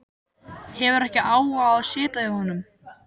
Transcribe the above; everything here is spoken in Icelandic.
Hefur ekki áhuga á að sitja hjá honum.